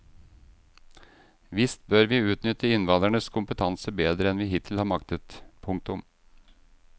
Visst bør vi utnytte innvandrernes kompetanse bedre enn vi hittil har maktet. punktum